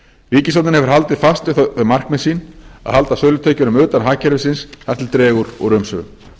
því haldið fast við þau markmið sín að halda sölutekjunum utan hagkerfisins þar til dregur úr umsvifum